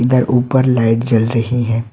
इधर ऊपर लाइट जल रही है।